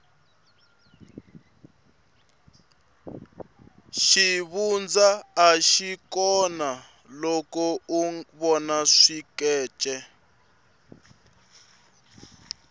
xivundza axi kona loko u vona swikece